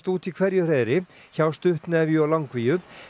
út í hverju hreiðri hjá stuttnefju og langvíu